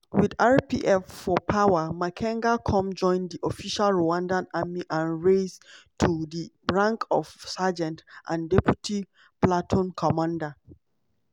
wit rpf for power makenga come join di official rwandan army and rise to di rank of sergeant and deputy platoon commander.